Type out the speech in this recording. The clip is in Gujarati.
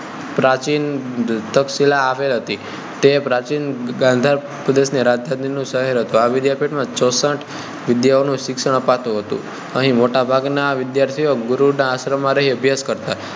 પ્રાચીન તક્ષશિલા આવેલી હતી વિદ્યાપીઠ હતી તે પ્રાચીન ગાંધાર પ્રદેશ ની રાજધાની નું શહેર હતું આ વિદ્યાપીઠ માં ચૌસઠ વિદ્યાઓ નું શિક્ષણ અપાતું હતું અહીં મોટા ભાગ નાં વિદ્યાર્થીઓ ગુરુ નાં આશ્રમ માં રહી અભ્યાશ કરતાં